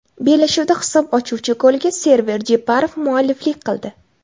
Bellashuvda hisob ochuvchi golga Server Jeparov mualliflik qildi.